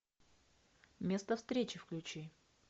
место встречи включи